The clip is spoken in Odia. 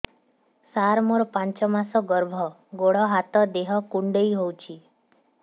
ସାର ମୋର ପାଞ୍ଚ ମାସ ଗର୍ଭ ଗୋଡ ହାତ ଦେହ କୁଣ୍ଡେଇ ହେଉଛି